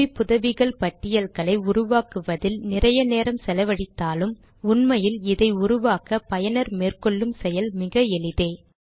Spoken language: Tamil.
குறிப்புதவிகள் பட்டியல்களை உருவாக்குவதில் நிறைய நேரம் செலவழித்தாலும் உண்மையில் இதை உருவாக்க பயனர் மேற்கொள்ளும் செயல் மிகஎளிதே